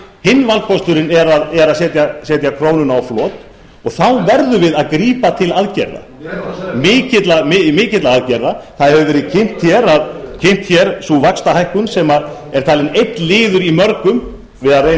hinn valkosturinn er að setja krónuna á flot og þá verðum við að grípa til aðgerða mikilla aðgerða það hefur verið kynnt hér sú vaxtahækkun sem er talin einn liður í mörgum við að